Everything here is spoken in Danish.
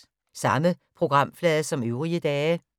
Samme programflade som øvrige dage